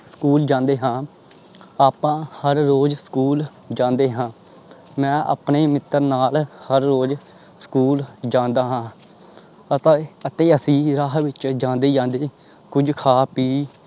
school ਜਾਂਦੇ ਹਾਂ ਆਪਾਂ ਹਰ ਰੋਜ਼ ਸਕੂਲ ਜਾਂਦੇ ਹਾਂ ਮੈਂ ਆਪਣੇ ਮਿੱਤਰ ਨਾਲ ਹਰ ਰੋਜ਼ ਸਕੂਲ ਜਾਂਦਾ ਹਾਂ ਆਪਾਂ ਅਤੇ ਅਸੀਂ ਰਾਹ ਵਿੱਚ ਜਾਂਦੇ ਜਾਂਦੇ ਕੁੱਝ ਖਾ ਪੀ